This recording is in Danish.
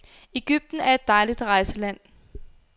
Egypten er et dejligt rejseland.